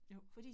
Jo